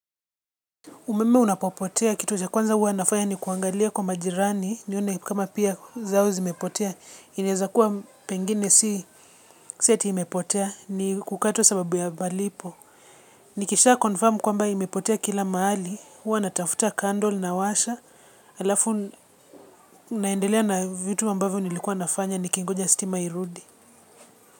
Umeme unapopotea kitu cha kwanza huwa nafaya ni kuangalia kwa majirani. Nione kama pia zao zimepotea, inaezakuwa pengine si eti imepotea ni kukatwa sababu ya malipo. Nikisha confirm kwamba imepotea kila mahali huwa natafuta candle nawasha alafu naendelea na vitu ambavyo nilikuwa nafanya nikingoja stima irudi.